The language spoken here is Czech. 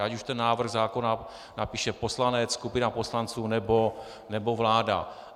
Ať už ten návrh zákona napíše poslanec, skupina poslanců nebo vláda.